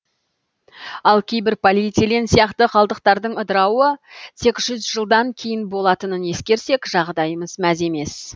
ал кейбір полиэтилен сияқты қалдықтардың ыдырауы тек жүз жылдан кейін болатынын ескерсек жағдайымыз мәз емес